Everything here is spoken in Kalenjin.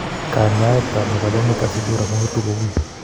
Kanyaayetab mevalonic acidura kongetu ko wuuy.